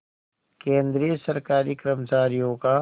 केंद्रीय सरकारी कर्मचारियों का